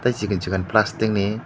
tei sikon sikon plastic ni.